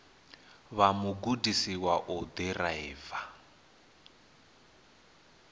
vha mugudisi wa u ḓiraiva